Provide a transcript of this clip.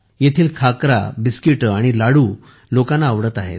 येथील खाकरा बिस्किटे आणि लाडू लोकांना आवडत आहेत